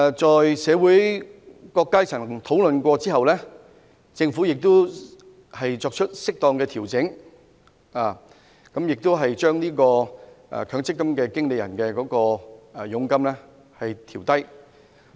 經社會各階層討論後，政府亦已作出適當的調整，調低強積金管理人的佣金。